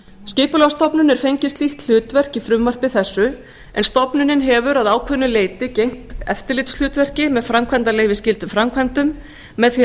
skipulagsstofnun er fengið slíkt hlutverk í frumvarpi þessu en stofnunin hefur að ákveðnu leyti gegnt eftirlitshlutverki með framkvæmdaleyfisskyldum framkvæmdum með því